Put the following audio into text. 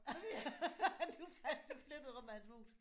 Du fandt du flyttede rundt med hans mus!